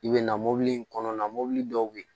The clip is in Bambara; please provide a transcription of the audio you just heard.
I bɛ na mobili in kɔnɔna na mobili dɔw bɛ yen